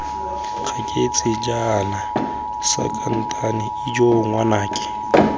gaketse jaana sankatane ijoo ngwanake